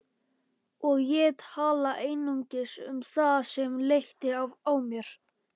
Og ég tala einungis um það sem léttir á mér.